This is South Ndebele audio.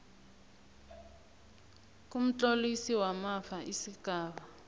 kumtlolisi wamafa isigaba